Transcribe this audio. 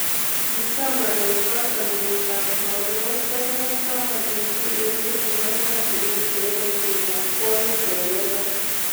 Kicham ngalechotok kenyit ab tamanwokik sokol ak taman eng tuyet nekibo ematunwek chebo boishet ab kwonyik eng Denmark.